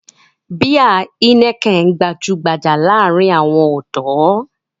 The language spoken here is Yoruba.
Báì Heineken gbajú-gbajà láàárin àwọn ọ̀dọ́.